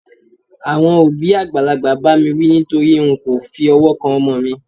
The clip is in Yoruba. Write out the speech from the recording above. àwọn òbí àgbàlagbà ba mi wí nitori n ko fi ọwọ kan ọmọ mi